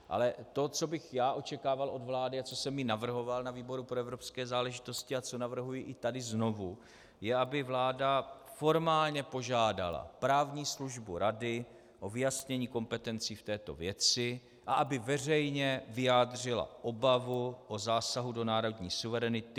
Ale to, co bych já očekával od vlády a co jsem i navrhoval na výboru pro evropské záležitosti a co navrhuji i tady znovu, je, aby vláda formálně požádala právní službu Rady o vyjasnění kompetencí v této věci a aby veřejně vyjádřila obavu o zásah do národní suverenity.